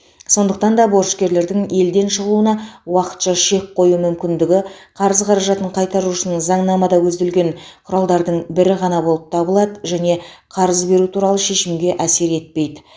сондықтан да борышкерлердің елден шығуына уақытша шек қою мүмкіндігі қарыз қаражатын қайтару үшін заңнамада көзделген құралдардың бірі ғана болып табылады және қарыз беру туралы шешімге әсер етпейді